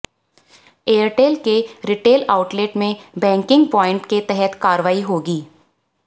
Airtel के retail outlet में banking points के तहत कार्यवाई होगी